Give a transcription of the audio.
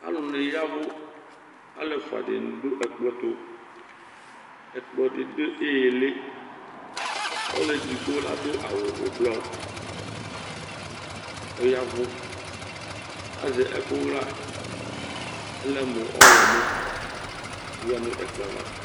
Alʋ ni yavʋ Alu ɛfʋa dìní du ɛkplɔ tu Ɛkplɔ di du ìlí Ɔlʋɛdigbo adu awu ɛblɔ, ɔyavʋ Lazɛ ɛku ɣa ɔlɛ mʋ ɔwlɔmɔ oya nʋ ɛkplɔ yɛ ava